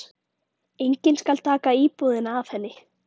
Enginn skal taka íbúðina af henni.